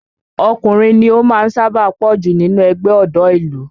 Ọkùnrin ni ó sábà máa ń pọ̀ jù nínú ẹgbẹ́ ọ̀dọ́ ìlú